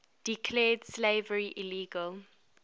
declared slavery illegal